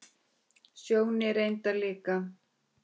Sjóni reyndar líka.